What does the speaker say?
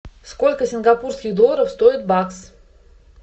сколько сингапурских долларов стоит бакс